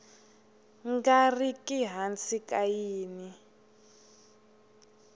nga riki hansi ka yin